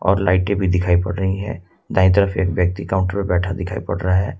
और लाइटें भी दिखाई पड़ रही है दाई तरफ एक व्यक्ति काउंटर पर बैठा दिखाई पड़ रहा है।